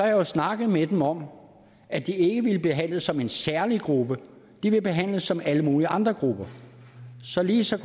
jo snakket med dem om at de ikke ville behandles som en særlig gruppe de vil behandles som alle mulige andre grupper så ligesom